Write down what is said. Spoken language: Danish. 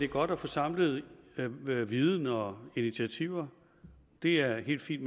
godt at få samlet viden og initiativer det er helt fint